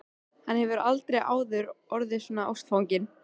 Hann hefur aldrei áður orðið svona ástfanginn.